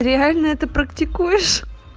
реально это практикуешь